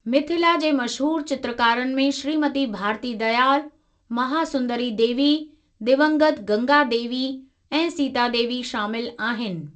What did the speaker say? मिथिला जे मशहूर चित्रकारनि में श्रीमती भारती दयाल, महासुंदरी देवी, दिवंगत गंगा देवी ऐं सीता देवी शामिल आहिनि।